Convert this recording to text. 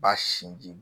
Ba sinji